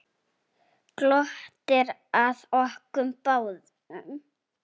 Glottir að okkur báðum.